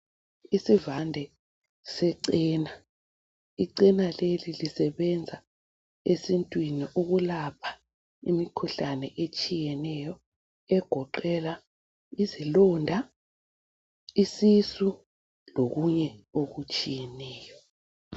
Isivande se cena. Icena leli lisebenza esintwini ukulapha imikhuhlane etshiyeneyo egoqela izilonda, isisu lokunye okutshiyeneyo.